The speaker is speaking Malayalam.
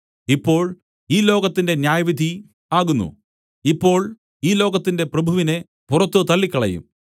ഇപ്പോൾ ഈ ലോകത്തിന്റെ ന്യായവിധി ആകുന്നു ഇപ്പോൾ ഈ ലോകത്തിന്റെ പ്രഭുവിനെ പുറത്തു തള്ളിക്കളയും